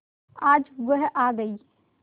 आज वह आ गई